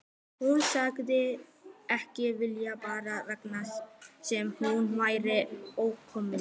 Hún sagðist ekki vilja fara þangað sem hún væri óvelkomin.